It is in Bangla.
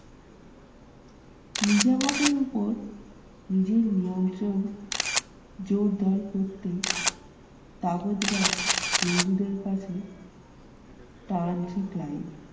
নিজামতের উপর নিজের নিয়ন্ত্রণ জোরদার করতে হিন্দুদের কাছে টানছে ক্লাইভ।